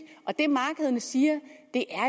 og det markederne siger